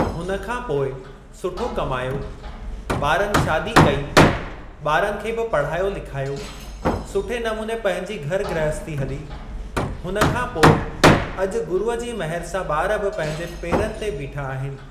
हुन खां पोइ सुठो कमायो, ॿारनि शादी कई, ॿारनि खे बि पढ़ायो लिखायो, सुठे नमुने पंहिंजी घर ग्रहस्ती हली, हुन खां पोइ अॼु गुरूअ जी मेहर सां ॿार बि पंहिंजे पेरनि ते बीठा आहिनि।